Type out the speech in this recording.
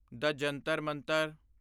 ਦ ਜੰਤਰ ਮੰਤਰ